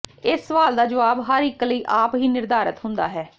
ਇਸ ਸਵਾਲ ਦਾ ਜਵਾਬ ਹਰ ਇਕ ਲਈ ਆਪ ਹੀ ਨਿਰਧਾਰਤ ਹੁੰਦਾ ਹੈ